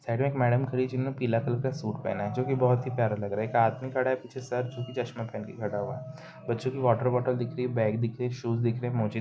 Side में एक madam खड़ी जिन्होंने पीला कलर का सूट पहना है जोकि बोहत ही प्यारा लग रहा है। एक आदमी खड़ा है। पीछे सर जोकि चश्मा पहन के खड़ा हुआ है। बच्चो की वाटरबोटल दिख रही है। बैग दिख रही है। शूज दिख रहे है। मोज़े --